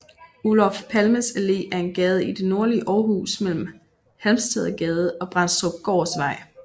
Olof Palmes Allé er en gade i det nordlige Aarhus mellem Halmstadgade og Brendstrupgårdsvej